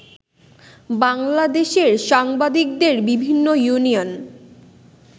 বাংলাদেশের সাংবাদিকদের বিভিন্ন ইউনিয়ন